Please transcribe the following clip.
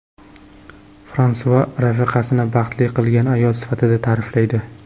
Fransua rafiqasini baxtli qilgan ayol sifatida ta’riflaydi.